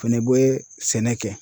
O fɛnɛ bɛ sɛnɛ kɛ.